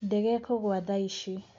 Ndege ikũgwa thaici.